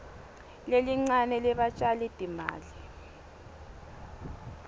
lelincane lebatjali timali